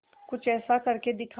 कुछ ऐसा करके दिखा